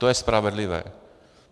To je spravedlivé.